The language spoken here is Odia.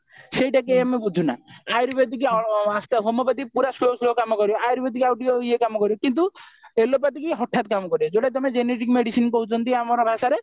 ସେଇଟାକୁ ଆମେ ବୁଝନା ଆୟୁର୍ବେଦିକ homeopathy ପୁରା slow slow କାମ କରିବ ଆୟୁର୍ବେଦିକ ଆଉ ଟିକେ ଇଏ କାମ କରିବ କିନ୍ତୁ allopathy ହଠାତ କାମ କରିବ ଯଉଟା ତମେ generic medicine କହୁଛନ୍ତି ଆମର ଭାଷାରେ